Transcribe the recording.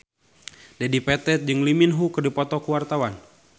Dedi Petet jeung Lee Min Ho keur dipoto ku wartawan